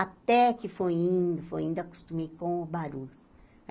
Até que foi indo, foi indo, acostumei com o barulho.